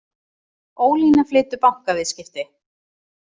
Ólína flytur bankaviðskipti